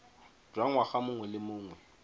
jwa ngwaga mongwe le mongwe